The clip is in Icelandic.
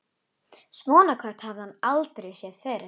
Svona kött hafði hann aldrei séð fyrr.